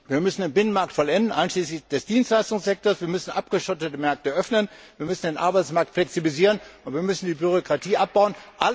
Wir müssen den Binnenmarkt vollenden, einschließlich des Dienstleistungssektors, wir müssen abgeschottete Märkte öffnen, wir müssen den Arbeitsmarkt flexibilisieren, und wir müssen die Bürokratie abbauen.